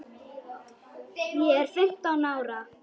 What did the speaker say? Ég er fimmtán ára.